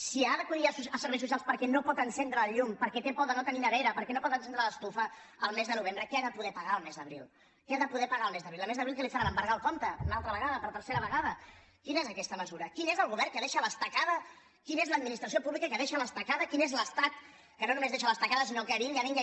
si ha d’acudir a serveis socials perquè no pot encendre el llum perquè té por de no tenir nevera perquè no pot encendre l’estufa el mes de novembre què ha de poder pagar el mes d’abril què ha de poder pagar el mes d’abril el mes d’abril què li faran embargar el compte una altra vegada per tercera vegada quina és aquesta mesura quin és el govern que deixa a l’estacada quina és l’administració pública que deixa a l’estacada quin és l’estat que no només deixa a l’estacada sinó que vinga vinga